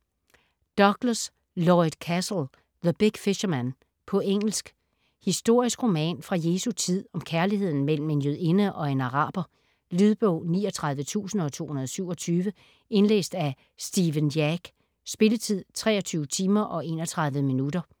Douglas, Lloyd Cassel: The big fisherman På engelsk. Historisk roman fra Jesu tid om kærligheden mellem en jødinde og en araber. Lydbog 39227 Indlæst af Stephen Jack. Spilletid: 23 timer, 31 minutter.